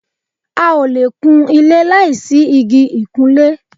a ò le kun ilé láì sí igi ìkunlé